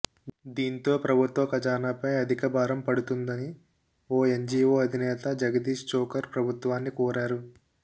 దీంతో ప్రభుత్వ ఖజానాపై అధికభారం పడుతుందని ఓ ఎన్జీవో అధినేత జగదీష్ ఛోకర్ ప్రభుత్వాన్ని కోరారు